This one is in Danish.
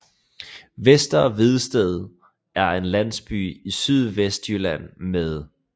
Vester Vedsted er en landsby i Sydvestjylland med